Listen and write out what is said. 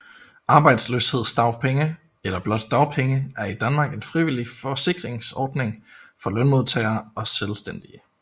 Arbejdsløshedsdagpenge eller blot dagpenge er i Danmark en frivillig forsikringsordning for lønmodtagere og selvstændige